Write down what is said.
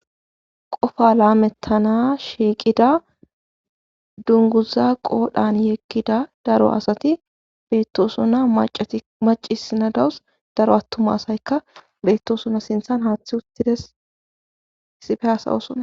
Qofa laamettana shiiqida dunguza qodhan yeggida daro asati beettosuna maci sinadawus daro attuma asayka beettosuna sinthan haaththi uttides isife asawosona.